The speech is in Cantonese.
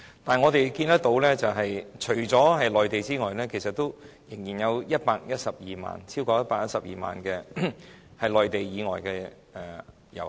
不過，我們看到，除了內地遊客，其實仍然有超過112萬名內地以外的遊客。